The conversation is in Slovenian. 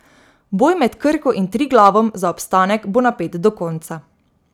Boj med Krko in Triglavom za obstanek bo napet do konca.